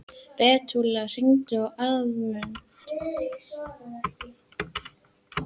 Betúel, hringdu í Aðalmund.